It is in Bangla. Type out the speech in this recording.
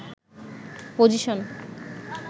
পজিশন